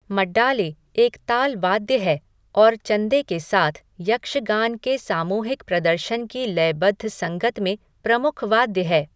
मड्डाले एक ताल वाद्य है और चंदे के साथ, यक्षगान के सामूहिक प्रदर्शन की लयबद्ध संगत में प्रमुख वाद्य है।